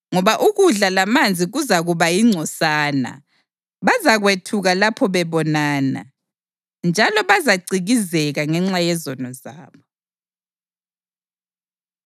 ngoba ukudla lamanzi kuzakuba yingcosana. Bazakwethuka lapho bebonana, njalo bazacikizeka ngenxa yezono zabo.”